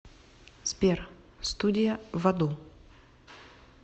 сбер студия в аду